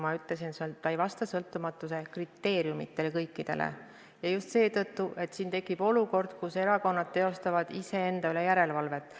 Ma ütlesin, et ta ei vasta kõikidele sõltumatuse kriteeriumidele, ja just seetõttu, et on tekkinud olukord, kus erakonnad teostavad iseenda üle järelevalvet.